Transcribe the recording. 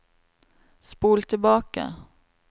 spol tilbake